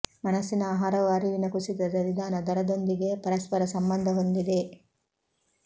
ಮನಸ್ಸಿನ ಆಹಾರವು ಅರಿವಿನ ಕುಸಿತದ ನಿಧಾನ ದರದೊಂದಿಗೆ ಪರಸ್ಪರ ಸಂಬಂಧ ಹೊಂದಿದೆ